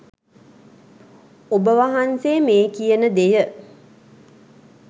ඔබ වහන්සේ මේ කියන දෙය